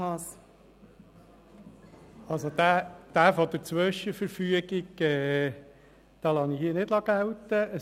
Den Punkt mit der Zwischenverfügung lasse ich hier nicht gelten.